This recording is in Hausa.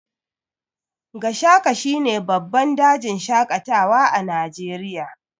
Gashaka shine babban dajin shaƙatawa na Najeriya.